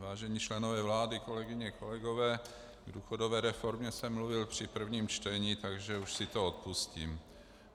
Vážení členové vlády, kolegyně, kolegové, k důchodové reformě jsem mluvil při prvním čtení, takže už si to odpustím.